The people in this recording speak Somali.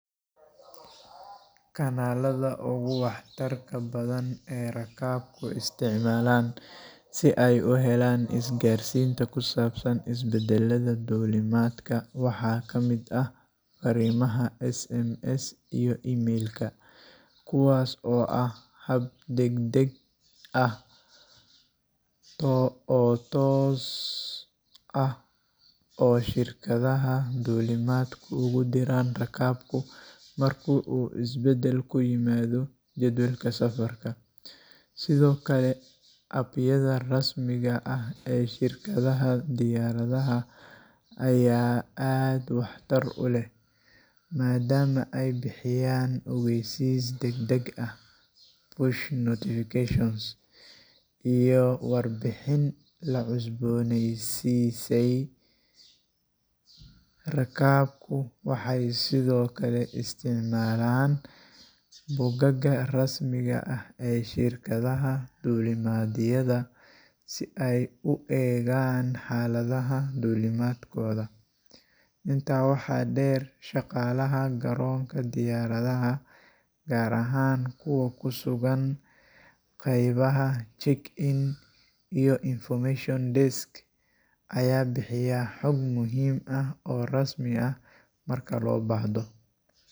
Kanaalada ugu waxtarka badan ee rakaabku isticmaalaan si ay u helaan isgaarsiinta ku saabsan isbeddellada duulimaadka waxaa ka mid ah farriimaha [cs[SMS iyo email-ka, kuwaas oo ah hab degdeg ah oo toos ah oo shirkadaha duulimaadku ugu diraan rakaabku marka uu isbeddel ku yimaado jadwalka safarka. Sidoo kale, app-yada rasmiga ah ee shirkadaha diyaaradaha ayaa aad waxtar u leh, maadaama ay bixiyaan ogeysiisyo degdeg ah push notifications iyo warbixin la cusbooneysiisay. Rakaabku waxay sidoo kale isticmaalaan bogagga rasmiga ah ee shirkadaha duulimaadyada si ay u eegaan xaaladda duulimaadkooda. Intaa waxaa dheer, shaqaalaha garoonka diyaaradaha, gaar ahaan kuwa ku sugan qaybaha Check-in iyo Information Desk, ayaa bixiya xug muhiim ah oo rasmi ah marka loo baahdo.